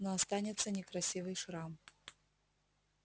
но останется некрасивый шрам